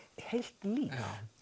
heilt líf